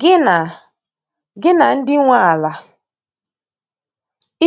Gị na Gị na ndị nwe ala